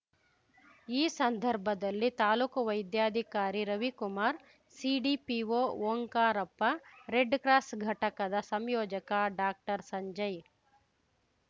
ಈ ಸಂದರ್ಭದಲ್ಲಿ ತಾಲ್ಲೂಕು ವೈದ್ಯಾಧಿಕಾರಿ ರವಿಕುಮಾರ್ ಸಿಡಿಪಿಓ ಓಂಕಾರಪ್ಪ ರೆಡ್‌ಕ್ರಾಸ್ ಘಟಕದ ಸಂಯೋಜಕ ಡಾಕ್ಟರ್ ಸಂಜಯ್